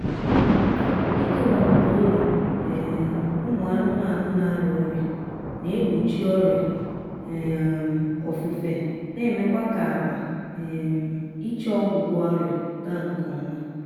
ikewaputa ụlọ um ụmụ anụmaanụ na-arịa ọrịa na-egbochi ọrịa um ofufe na-emekwa ka-akpa um iche ọgwụgwọ ọrịa gaa nkọma